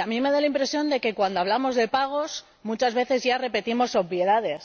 A mí me da la impresión de que, cuando hablamos de pagos, muchas veces ya repetimos obviedades,